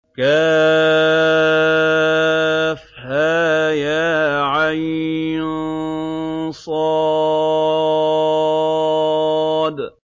كهيعص